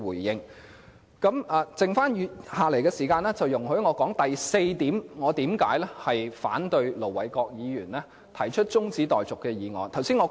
餘下的時間，容許我說說我反對盧偉國議員動議中止待續議案的第四項原因。